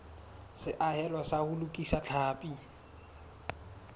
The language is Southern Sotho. seahelo sa ho lokisa tlhapi